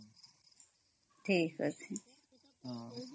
noise